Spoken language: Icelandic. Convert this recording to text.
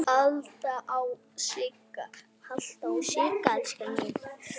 Halda ró sinni.